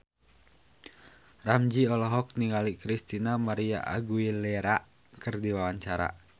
Ramzy olohok ningali Christina María Aguilera keur diwawancara